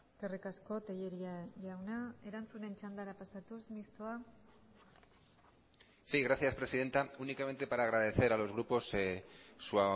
eskerrik asko tellería jauna erantzunen txandara pasatuz mistoa sí gracias presidenta únicamente para agradecer a los grupos su